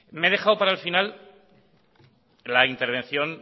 me he dejado para el final la intervención